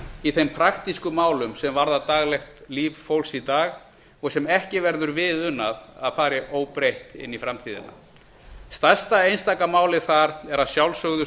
í þeim praktísku málum sem varða daglegt líf fólks í dag og sem ekki verður við unað að fari óbreytt inn í framtíðina stærsta einstaka málið þar er að sjálfsögðu